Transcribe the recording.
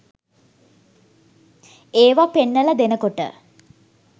ඒව පෙන්නල දෙනකොට